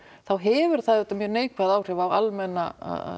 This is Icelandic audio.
þá hefur það auðvitað mjög neikvæð áhrif á almenna